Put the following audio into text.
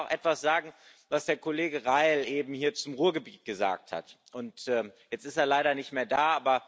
Ich will aber auch etwas sagen, was der Kollege Reil eben hier zum Ruhrgebiet gesagt hat jetzt ist er leider nicht mehr da.